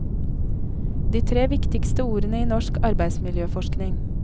De tre viktigste ordene i norsk arbeidsmiljøforskning.